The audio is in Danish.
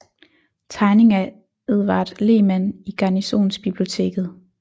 Tegning af Edvard Lehmann i Garnisonsbiblioteket